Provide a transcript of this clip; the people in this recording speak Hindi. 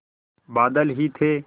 बादल ही थे